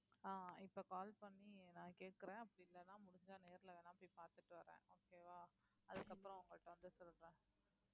ஆஹ் இப்ப call பண்ணி நான் கேட்கறேன் அப்படி இல்லைன்னா முடிஞ்சா நேர்ல வேண்ணா போய் பாத்துட்டு வர்றேன் okay வா அதுக்கப்புறம் உங்ககிட்ட வந்து சொல்றேன்